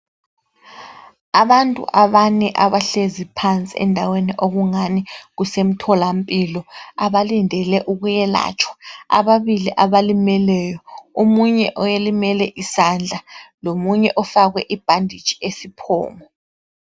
Abantu abane abahlezi phansi endaweni okungani kusemtholampilo abalindele ukwelatshwa ababili abalimeleyo omunye ulimele isandla lomunye ofakwe ibhanditshi esiphongo.